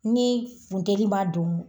Ni funteli b'a don